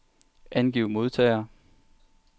Angiv modtagere.